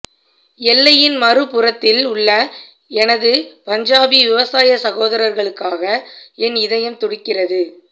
எல்லையின் மறுபுறத்தில் உள்ள எனது பஞ்சாபி விவசாய சகோதரர்களுக்காக என் இதயம் துடிக்கிறது